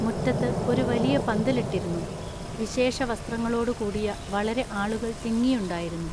മുറ്റത്തു ഒരു വലിയ പന്തലിട്ടിരുന്നു. വിശേഷ വസ്ത്രങ്ങളോടു കൂടിയ വളരെ ആളുകൾ തിങ്ങിയുണ്ടായിരുന്നു.